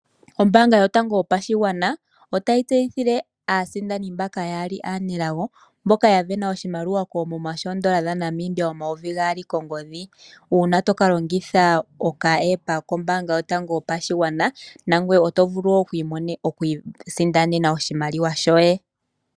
Ombaanga yotango yopashigwana otayi tseyithile aasindani mbaka yeli yaali aanelago mboka yasindana oshimaliwa koomuma shoondola dhaNamibia omayovi gaali kongodhi uuna tokalongitha oka app kombaanga yotango yopashigwana nangwe otovulu wo okuiisindanena oshimaliwa shoye.